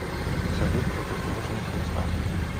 салют противоположность весна